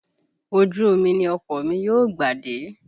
Ojú omi ni ọkọ̀ mi yóò gbà dé